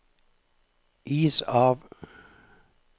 is av